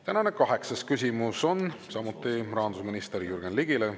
Tänane kaheksas küsimus on samuti rahandusminister Jürgen Ligile.